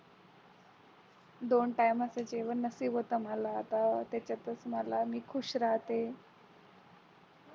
दोन time चे जेवण नशीब होतं मला आता त्याच्यातच मला मी खूष राहते